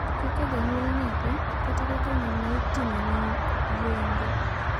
Kaka janyuol nyathi kata kaka ng`ama itimone yeng`o.